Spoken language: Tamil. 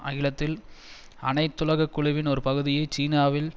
அகிலத்தின் அனைத்துலக குழுவின் ஒரு பகுதியை சீனாவில்